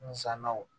Nzɛnaw